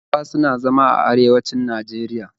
Hausawa suna zama a arewanci Najeriya